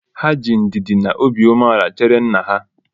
Ha ji ndidi na obiumeala chere nna ha